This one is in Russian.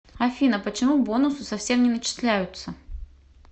афина почему бонусы совсем не начисляются